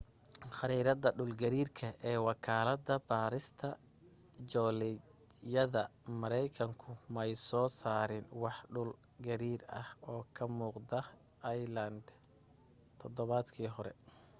khariirada dhul gariirka ee wakaalada baarista joolajyada markaykanku may soo saarin wax dhul gariir ah oo ka muuqda iceland todobaadkii hore